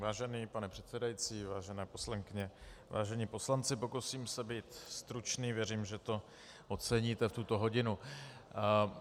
Vážený pane předsedající, vážené poslankyně, vážení poslanci, pokusím se být stručný, věřím, že to oceníte v tuto hodinu.